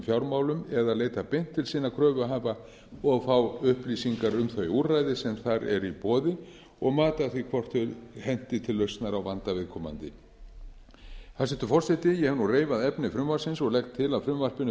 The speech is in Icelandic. fjármálum eða leita beint til sinna kröfuhafa og fá upplýsingar um þau úrræði sem þar eru í boði og mat á því hvort þau henti til lausnar á vanda viðkomandi hæstvirtur forseti ég hef nú reifað efni frumvarpsins og legg til að frumvarpinu